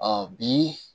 bi